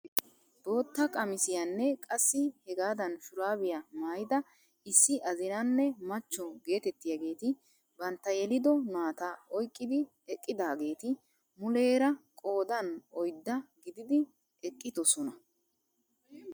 Bootta qamisiyaanne qassi hegaadan shuurabiyaa maayida issi azinanne machcho getettiyaageti bantta yelido naa'ata oyqqidi eqqidaageti muleera qoodan oydda gididi eqqidosona.